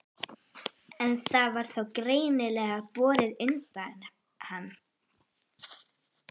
En það var þá greinilega borið undir hann?